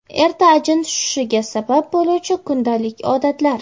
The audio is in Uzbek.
Erta ajin tushishiga sabab bo‘luvchi kundalik odatlar.